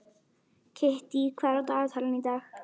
Kittý, hvað er á dagatalinu í dag?